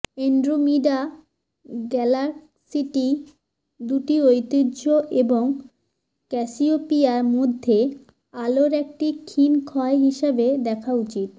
Andromeda গ্যালাক্সিটি দুটি ঐতিহ্য এবং ক্যাসিওপিয়া মধ্যে আলোর একটি ক্ষীণ ক্ষয় হিসাবে দেখা উচিত